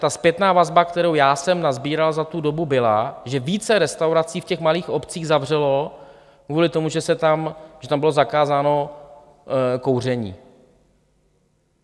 Ta zpětná vazba, kterou já jsem nasbíral za tu dobu, byla, že více restaurací v těch malých obcích zavřelo kvůli tomu, že tam bylo zakázáno kouření.